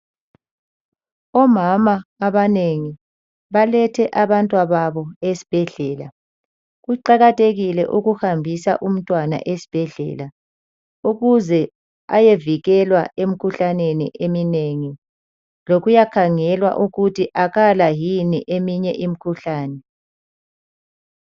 Omama abanengi balethe abantwababo esibhedlela. Kuqakathekile ukuhambisa umntwana esibhedlela ukuze ayovikelwa emkhuhlaneni eminengi, lokuyakhangelwa ukuthi akala yini eminye imikhuhlane.